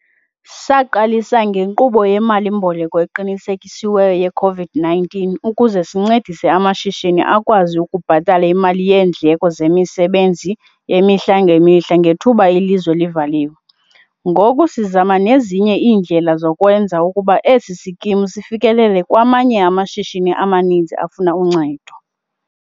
Saqalisa ngeNkqubo yeMali-mboleko Eqinisekisiweyo ye-COVID-19 ukuze sincedise amashishini akwazi ukubhatala imali yeendleko zemisebenzi yemihla ngemihla ngethuba ilizwe livaliwe, ngoku sizama nezinye indlela zokwenza ukuba esi sikimu sifikelele kwamanye amashishini amaninzi afuna uncedo.